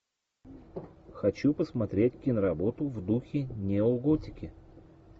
хочу посмотреть киноработу в духе неоготики